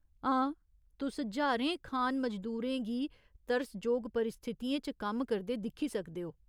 हां, तुस ज्हारें खान मजदूरें गी तरसजोग परिस्थितियें च कम्म करदे दिक्खी सकदे ओ।